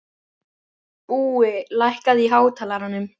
Búi, lækkaðu í hátalaranum.